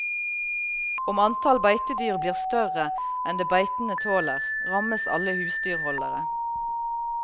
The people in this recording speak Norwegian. Om antall beitedyr blir større enn det beitene tåler, rammes alle husdyrholdere.